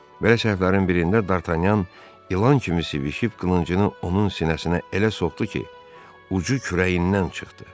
Belə səhvlərin birində Dartanyan ilan kimi sivişib qılıncını onun sinəsinə elə soxdu ki, ucu kürəyindən çıxdı.